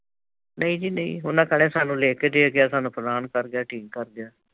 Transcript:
ਨਹੀ ਨਹੀ ਜੀ ਉਹਨਾਂ ਕਹਿਣਾ ਸਾਨੂੰ ਲੇ ਕੇ ਦੇ ਗਿਆ। ਸਾਨੂੰ ਫਲਾਣ ਕਰ ਗਿਆ, ਢੀਂਗ ਕਰ ਗਿਆ।